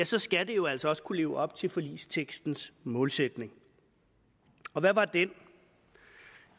så skal det jo altså også kunne leve op til forligstekstens målsætning og hvad var den